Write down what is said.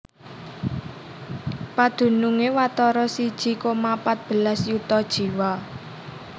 Padunungé watara siji koma pat belas yuta jiwa